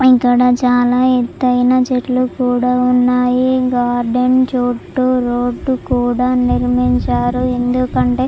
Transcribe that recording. ఇక్కడ చాలా ఎత్తైన చెట్లు కూడా ఉన్నాయి. గార్డెన్ చుట్టూ రోడ్డు కూడా నిర్మించారు. ఎందుకంటే--